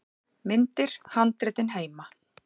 Myndir: Handritin heima.